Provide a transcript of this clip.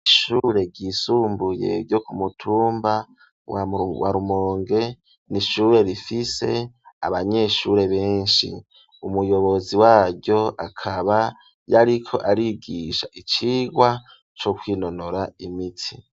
ishure ryisumbuye ryo kumutumba wa Rumonge ni ishure rifise abanyeshure benshi umuyobozi waryo akaba yariko arabigisha icigwa co kwinonora imitsi.